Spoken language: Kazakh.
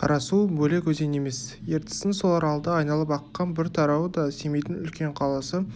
қарасу бөлек өзен емес ертістің сол аралды айналып аққан бір тарауы да семейдің үлкен қаласы